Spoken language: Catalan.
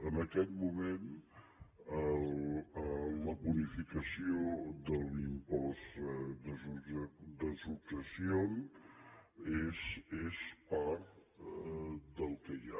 en aquest moment la bonificació de l’impost de successions és part del que hi ha